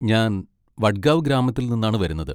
ഞാൻ വഡ്ഗാവ് ഗ്രാമത്തിൽ നിന്നാണ് വരുന്നത്.